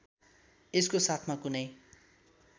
यसको साथमा कुनै